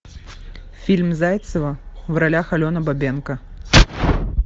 фильм зайцева в ролях алена бабенко